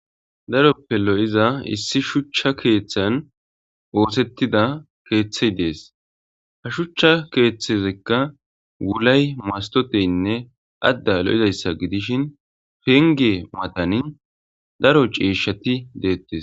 daroppe lo7iza issi shuchcha keeththan oosettida keeththey dees ha shuchcha keeththezekka wulay mastoteynne adda lo7izayssa gidishin penge matanin daro ceeshshati deettes